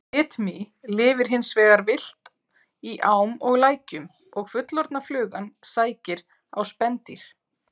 Bitmý lifir hins vegar villt í ám og lækjum og fullorðna flugan sækir á spendýr.